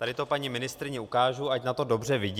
Tady to paní ministryni ukážu, ať na to dobře vidí.